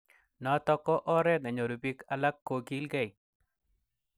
Notok ko oret nenyoru bik ak kokilgei.